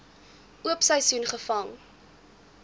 oop seisoen gevang